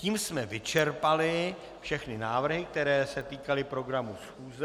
Tím jsme vyčerpali všechny návrhy, které se týkaly programu schůze.